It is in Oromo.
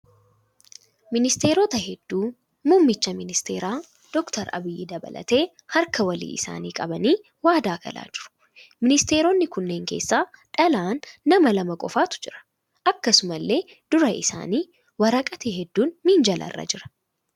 Ministeerota hedduu muumicha ministeeraa Dr. Abiyyi dabalatee harka walii isaanii qabanii waadaa galaa jiru. Ministeeronni kunneen keessa dhalaa nama lama qofatu jira. Akkasumallee dura isaanii waraqati hedduun minjaala irra jira.